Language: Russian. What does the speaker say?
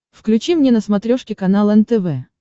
включи мне на смотрешке канал нтв